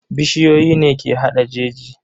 Bishiyoyi ne ke hada jeji.